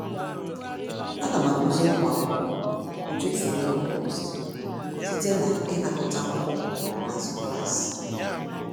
Ana m akuziri ụmụ akwụkwọ otu esi eme compost site na ịnakọta akwụkwọ n'azụ klaasị.